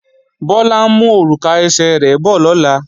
Bọ́lá ń mú òrùka ẹsẹ̀ rẹ̀ bọ̀ lọ́la